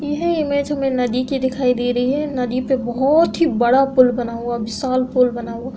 यह इमेज में नदी के दिखाईं दे रही है। नदी पे बहोत ही बड़ा पुल बना हुआ विशाल पुल बना हुआ --